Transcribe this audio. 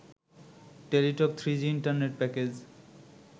Teletalk three G internet package